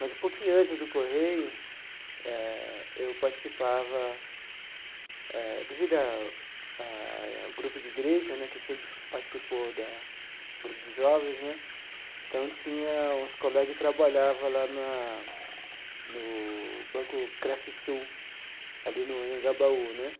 Mas, um pouquinho antes do Correio eh, eu participava eh, devido a a ao grupo de igreja né, que sempre participou da grupo de jovens né, então tinha uns colegas que trabalhava lá na no Banco Crefisul, ali no Anhangabaú né,